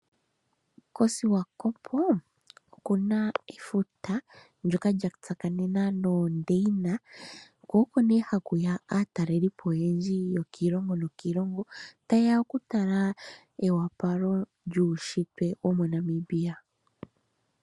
KOsiwakopo oku na efuta ndjoka lya tsakanena noondeina, ko oko nee haku ya aatalelipo oyendji yo kiilongo nokiilongo, ta yeya oku tala eopalo lyuushitwe wo moNamibia.